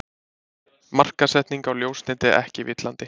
Markaðssetning á ljósneti ekki villandi